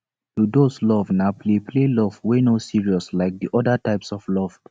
ludus love na play play love wey no serious like de oda types of love